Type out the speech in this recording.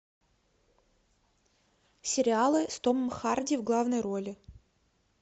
сериалы с томом харди в главной роли